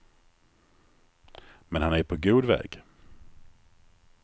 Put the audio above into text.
Men han är på god väg.